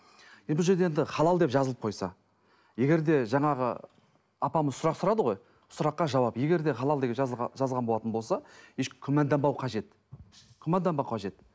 бұл жерде енді халал деп жазылып қойса егер де жаңағы апамыз сұрастырады ғой сұраққа жауап егер де халал деп жазылған болатын болса еш күмәнданбау қажет күмәнданбау қажет